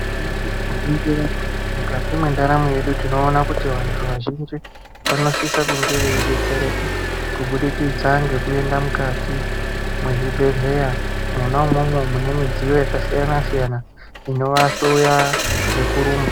Nyamashi tikaningira mukati mendaramo yedu tinoona kuti vantu vazhinji vanosise kunge veidetsereka kubudikidza ngekuende mukati mwezvibhedhlera, mwona umwomwo mune midziyo yakasiyana siyana inovahloya ngekurumba.